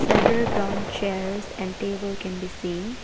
Several brown chairs and table can be seen.